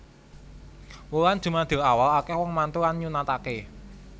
Wulan jumadilawal akeh wong mantu lan nyunatake